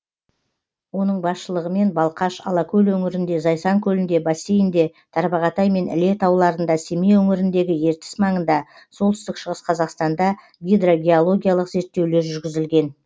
оның басшылығымен балқаш алакөл өңірінде зайсан көлінде бассейнде тарбағатай мен іле тауларында семей өңіріндегі ертіс маңында солтүстік шығыс қазақстанда гидрогеологиялық зерттеулер жүргізілген